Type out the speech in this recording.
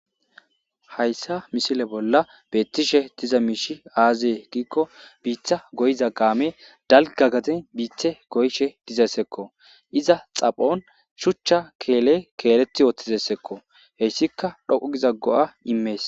Hayssa misile bolla beettishe diza miishi aazee giikko biitha goyiza gaame dalga gaden biithe goyshe dizessekko iza xaphon shuchcha keele keeleti yooththizessekko heyssika dhoqu giza go'a imees.